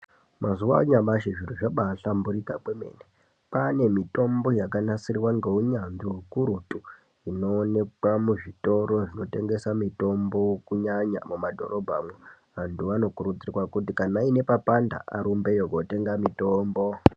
Mazuwa anyamashi zviro zvabahlamburika kwemene kwaane mitombo yakanasirwa ngeunyanzvi ukurutu inoonekwa muzvitoro zvinotengesa mitombo kunyanya mumadhorobhamwo antu anokurudzirwa kuti kana aine papanda arumbeyo kunotenga mitombo.